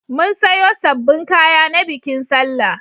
Mun sayo sabbin kaya na bikin sallah.